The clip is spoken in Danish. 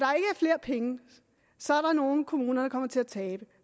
flere penge så er der nogle kommuner der kommer til at tabe